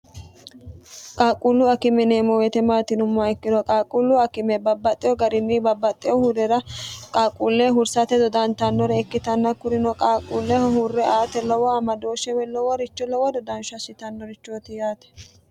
qaaqquullu akime yineemmo woyite maati yinummoha ikkiro qaaqquullu akime babbaxxeho garinni babbaxxeho huurera qaaquulleho hursate dodantannore ikkitanna kurino qaaqquulleho hurre aate lowo amadooshshe woy loworicho lowo dodansho asitannorichooti yaate.